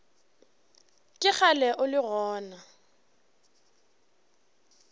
ke kgale o le gona